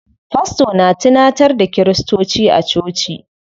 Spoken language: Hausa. Fasto na tunantar da kiristoci a coci.